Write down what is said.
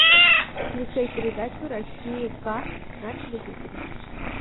включай передачу россия к на телевизоре